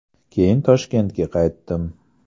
Keyin Toshkentga qaytdim.